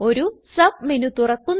ഒരു sub menu തുറക്കുന്നു